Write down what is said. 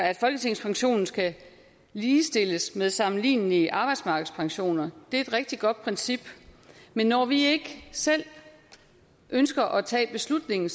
at folketingspensionen skal ligestilles med sammenlignelige arbejdsmarkedspensioner det er et rigtig godt princip men når vi ikke selv ønsker at tage beslutningen